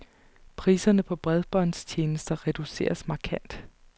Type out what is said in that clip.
Priserne på bredbåndstjenester reduceres markant.